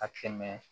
A kɛmɛ